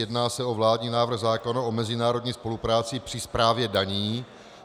Jedná se o vládní návrh zákona o mezinárodní spolupráci při správě daní.